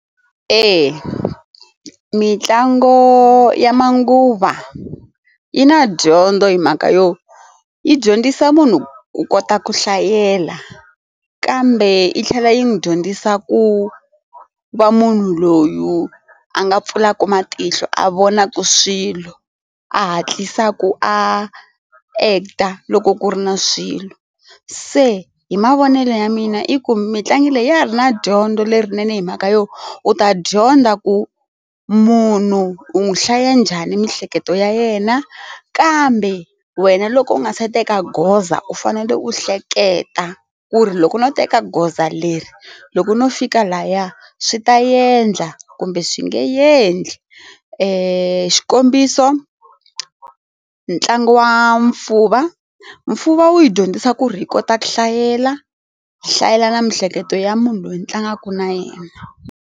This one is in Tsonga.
Eya, mitlango ya manguva yi na dyondzo hi mhaka yo yi dyondzisa munhu ku kota ku hlayela kambe yi tlhela yi n'wi dyondzisa ku va munhu loyi a nga pfulaka matihlo a vona ku swilo a hatlisa ku a act-a loko ku ri na swilo se hi mavonelo ya mina i ku mitlangu leyi ya ha ri na dyondzo lerinene hi mhaka yo u ta dyondza ku munhu u n'wi hlaya njhani miehleketo ya yena kambe wena loko u nga se teka goza u fanele u hleketa ku ri loko no teka goza leri loko no fika laya swi ta endla kumbe swi nge endli i xikombiso ntlangu wa nfuba nfuba wu yi dyondzisa ku ri hi kota ku hlayela hlayela na miehleketo ya munhu loyi a tlangaka na yena.